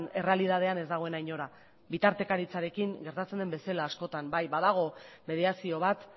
errealitatean ez dagoena inora bitartekaritzarekin gertatzen den bezala askotan bai badago mediazio bat